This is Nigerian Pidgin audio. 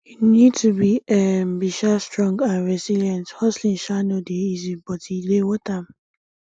you need to be um be um strong and resilient hustling um no dey easy but e dey worth am